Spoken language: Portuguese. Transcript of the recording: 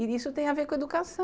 E isso tem a ver com educação.